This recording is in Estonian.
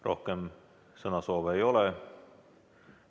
Rohkem sõnasoove ei ole.